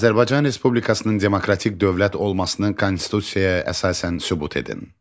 Azərbaycan Respublikasının demokratik dövlət olmasının konstitusiyaya əsasən sübut edin.